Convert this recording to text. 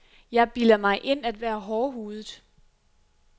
Jeg bilder mig ind at være hårdhudet.